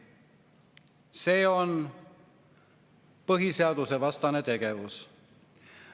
See on põhiseadusvastane tegevus.